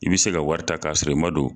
I bɛ se ka wari ta k'a sɔrɔ i man don.